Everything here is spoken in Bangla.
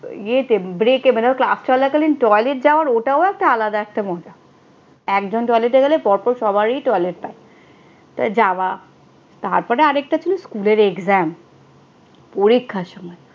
ইয়েতে break মানে ক্লাস চলাকালীন toilet যাওয়ার ওটা একটা আলাদা মজা। একজন toilet এ গেলে পরপর সবারই toilet পায়। তাই যাওয়া। তারপরে আর একটা ছিল স্কুলের exam পরীক্ষার সময়